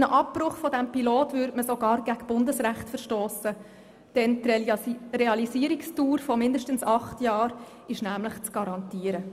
Bei einem Abbruch des Pilotprogramms würde man sogar gegen Bundesrecht verstossen, denn die Realisierungsdauer von mindestens 8 Jahren ist nämlich zu garantieren.